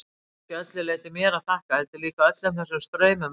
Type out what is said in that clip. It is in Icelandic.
Það er ekki að öllu leyti mér að þakka, heldur líka öllum þessum straumum utanfrá.